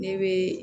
Ne bɛ